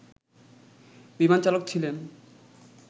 বিমানচালক ছিলেন